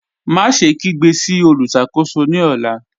Máṣẹ̀ kígbe sí olùṣakò̩só̩ ní ọ̀là.